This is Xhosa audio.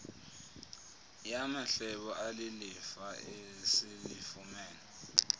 yamahlebo alilifa esilifumene